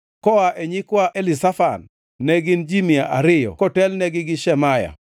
koa e nyikwa Elizafan, ne gin ji mia ariyo kotelnegi gi Shemaya,